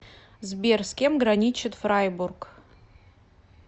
сбер с кем граничит фрайбург